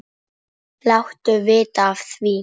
Láttu vita af því.